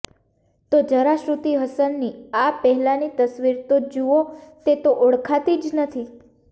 તો જરા શ્રૃતિ હસનની આ પહેલાની તસવીર તો જુઓ તે તો ઓળખાતી જ નથી